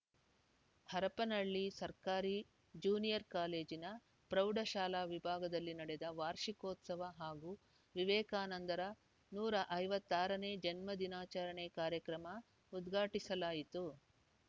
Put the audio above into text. ಹರಪನಹಳ್ಳಿ ಸರ್ಕಾರಿ ಜೂನಿಯರ್‌ ಕಾಲೇಜಿನ ಪ್ರೌಢ ಶಾಲಾ ವಿಭಾಗದಲ್ಲಿ ನಡೆದ ವಾರ್ಷಿಕೋತ್ಸವ ಹಾಗೂ ವಿವೇಕಾನಂದರ ನೂರ ಐವತ್ತ್ ಆರ ನೇ ಜನ್ಮ ದಿನಾಚರಣೆ ಕಾರ್ಯಕ್ರಮ ಉದ್ಘಾಟಿಸಲಾಯಿತು